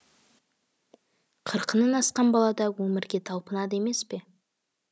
қырқынан асқан балада өмірге талпынады емес пе